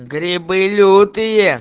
грибы лютые